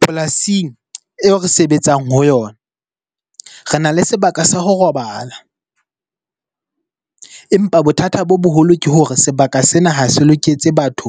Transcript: Polasing eo re sebetsang ho yona, re na le sebaka sa ho robala. Empa bothata bo boholo ke hore sebaka sena ha se loketse batho